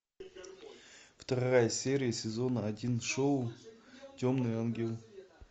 вторая серия сезона один шоу темный ангел